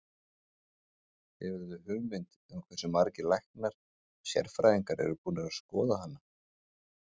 Hefurðu hugmynd um hversu margir læknar og sérfræðingar eru búnir að skoða hana?